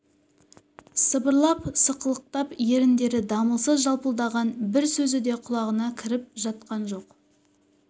сыбырлап сықылықтап еріндері дамылсыз жалпылдаған бір сөзі де құлағына кіріп жатқан жоқ